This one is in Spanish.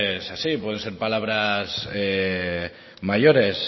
es así puede ser palabra mayores